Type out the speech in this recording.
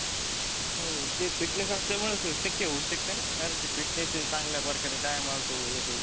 हम्म ते fitness आसल्यामुळ शक्य होऊ शकतना. कारण की fitness ते चांगल्या प्रकारे dye मारतो हे ते.